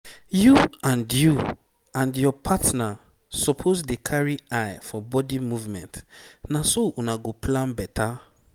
you and you and your partner suppose dey carry eye for body movement na so una go plan better.